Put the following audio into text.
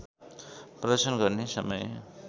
प्रदर्शन गर्ने समय